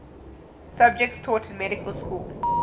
subjects taught in medical school